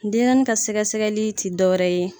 Denɲɛrɛnin ka sɛgɛ sɛgɛli ti dɔwɛrɛ ye.